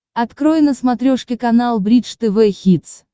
открой на смотрешке канал бридж тв хитс